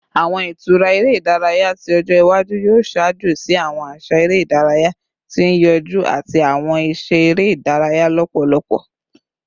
Awọn itura ere idaraya ti ọjọ iwaju yoo ṣaajo si awọn aṣa ere idaraya ti n yọju ati awọn iṣẹ ere idaraya lọpọlọpọ